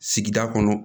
Sigida kɔnɔ